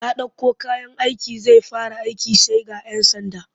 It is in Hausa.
Ya ɗauko kayan aiki zai fara aiki sai ga 'yan sanda